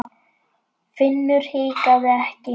Finnur hikaði ekki.